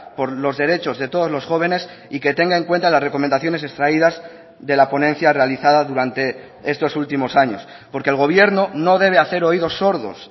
por los derechos de todos los jóvenes y que tenga en cuenta las recomendaciones extraídas de la ponencia realizada durante estos últimos años porque el gobierno no debe hacer oídos sordos